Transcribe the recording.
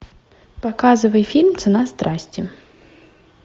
показывай фильм цена страсти